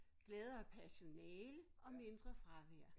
Gladere personale og mindre fravær